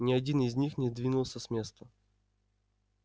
ни один из них не двинулся с места